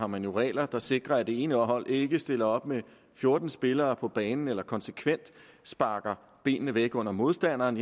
man har regler der sikrer at det ene hold ikke stiller op med fjorten spillere på banen eller konsekvent sparker benene væk under modstanderen